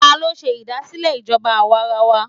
Ta ló ṣe ìdásílẹ̀ ìjọba àwarawa?